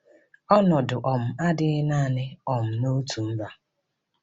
Ọnọdụ um a adịghị naanị um n’otu mba.